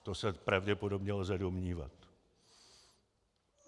To se pravděpodobně lze domnívat.